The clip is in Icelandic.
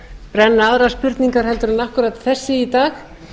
brenna aðrar spurningar en akkúrat þessi í dag